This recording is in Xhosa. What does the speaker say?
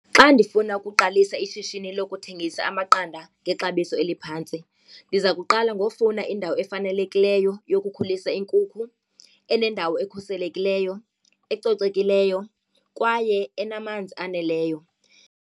Xa ndifuna ukuqalisa ishishini lokuthengisa amaqanda ngexabiso eliphantsi, ndiza kuqala ngokufuna indawo efanelekileyo yokukhulisa iinkukhu enendawo ekhuselekileyo, ecocekileyo kwaye enamanzi aneleyo.